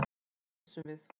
Þá pissum við.